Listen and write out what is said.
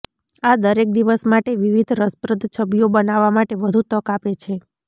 આ દરેક દિવસ માટે વિવિધ રસપ્રદ છબીઓ બનાવવા માટે વધુ તક આપે છે